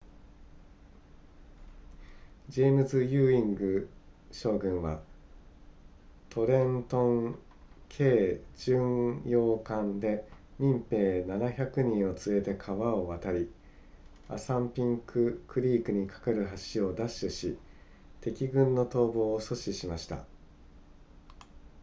ジェームズユーイング将軍はトレントン軽巡洋艦で民兵700人を連れて川を渡りアサンピンククリークにかかる橋を奪取し敵軍の逃亡を阻止しました